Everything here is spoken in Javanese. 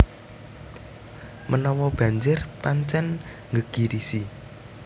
Menawa banjir pancen nggegirisi